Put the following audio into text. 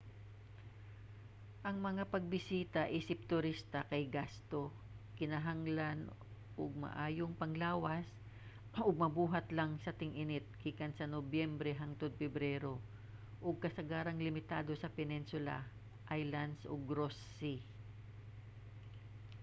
ang mga pagbisita isip turista kay gasto kinahanglan og maayong panglawas ug mabuhat lang sa ting-init gikan nobyembre hangtod pebrero ug kasagarang limitado sa peninsula islands ug ross sea